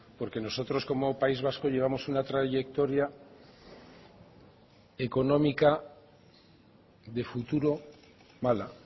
porque nosotros como país vasco llevamos una trayectoria económica de futuro mala